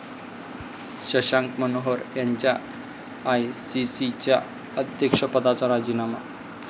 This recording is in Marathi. शशांक मनोहर यांचा आयसीसीच्या अध्यक्षपदाचा राजीनामा